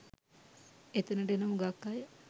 එතනට එන හුඟක් අය